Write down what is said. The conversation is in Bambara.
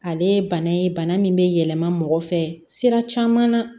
Ale ye bana ye bana min bɛ yɛlɛma mɔgɔ fɛ sira caman na